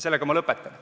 Sellega ma lõpetan.